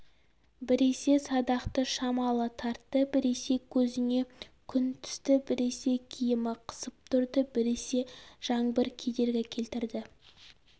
біресе садақты шамалы тартты біресе көзіне күн түсті біресе киімі қысып тұрды біресе жаңбыр кедергі келтірді